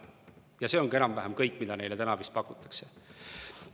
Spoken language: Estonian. Ja see ongi enam-vähem kõik, mida neile pakutakse.